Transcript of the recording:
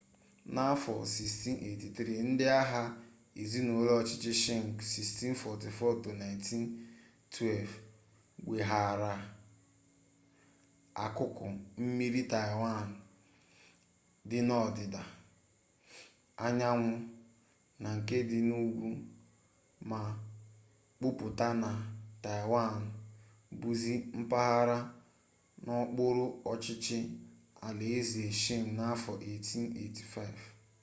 n'afọ 1683 ndị agha ezinụlọ ọchịchị shịng 1644-1912 weghaara akụkụ mmiri taịwan dị n'ọdịda anyanwụ na nke dị n'ugwu ma kwuputa na taịwan bụzi mpaghara n'okpuru ọchịchị alaeze shịng n'afọ 1885